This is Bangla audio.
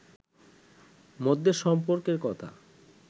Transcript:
মধ্যে সম্পর্কের কথা